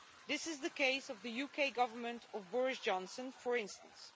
This is the case of the UK Government of Boris Johnson, for instance.